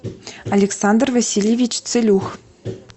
александр васильевич целюх